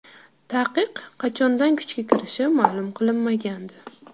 Taqiq qachondan kuchga kirishi ma’lum qilinmagandi .